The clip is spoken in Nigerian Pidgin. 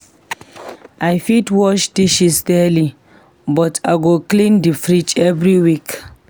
I fit wash dishes daily, but I go clean the fridge every week.